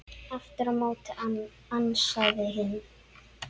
Aftur á móti ansaði hinn